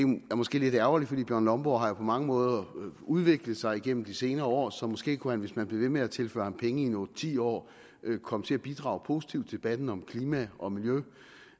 er måske lidt ærgerligt for bjørn lomborg har jo på mange måder udviklet sig igennem de senere år så måske kunne han hvis man blev ved med at tilføre ham penge i otte ti år komme til at bidrage positivt i debatten om klima og miljø